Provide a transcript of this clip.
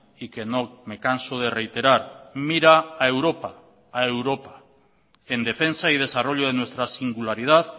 y que no me canso de reiterar mira a europa a europa en defensa y desarrollo de nuestra singularidad